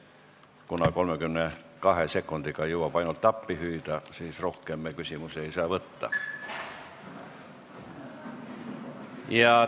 Kuna 32 sekundiga jõuab ainult appi hüüda, siis rohkem me küsimusi esitada ei saa.